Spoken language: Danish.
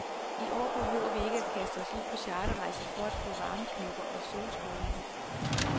I år behøver vi ikke at kaste os ud på charterrejser for at få varmeknopper og solskoldninger.